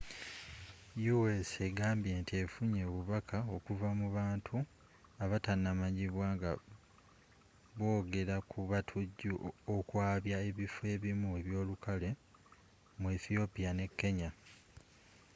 u.s egambye nti effunye obubaka okuva mu bantu abatamanyikiddwa nga bwogera ku batujju okwabya ebiffo ebimu ebyolukale” mu ethiopia ne kenya